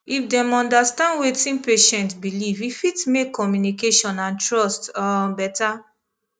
if dem understand wetin patient believe e fit make communication and trust um better